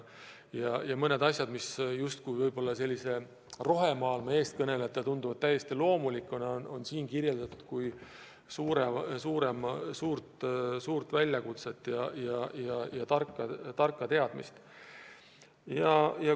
Ja mõningaid asju, mis rohemaailma eestkõnelejatele tunduvad täiesti loomulikuna, on arengukavas kirjeldatud kui suurt väljakutset ja tarka teadmist.